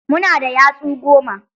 Mu na da yatsu goma.